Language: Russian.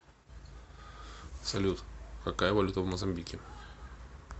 салют какая валюта в мозамбике